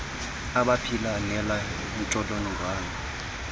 abaphila nale ntsholongwane